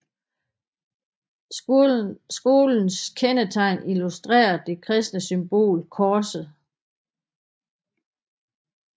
Skolens kendetegn illustrerer det kristne symbol korset